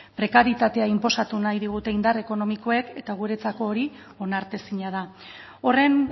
prekarietatea inposatu nahi digute indar ekonomikoek eta guretzako hori onartezina da horren